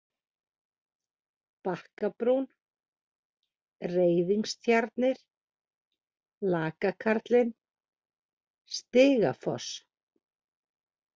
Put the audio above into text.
Bakkabrún, Reiðingstjarnir, Lakakarlinn, Stigafoss